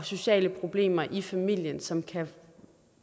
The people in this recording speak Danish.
sociale problemer i familien som kan